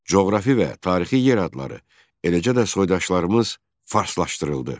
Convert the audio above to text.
Coğrafi və tarixi yer adları, eləcə də soydaşlarımız farslaşdırıldı.